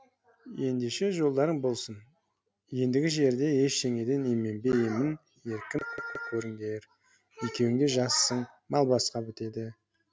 ендеше жолдарың болсын ендігі жерде ештеңеден именбей емін еркін көріңдер екеуіңде жассың мал басқа бітеді